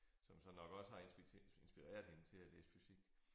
Som så nok også har inspireret hende til at læse fysik